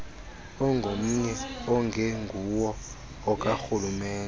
ongomnye ongenguwo okarhulumente